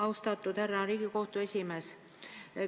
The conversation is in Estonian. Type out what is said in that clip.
Austatud härra Riigikohtu esimees!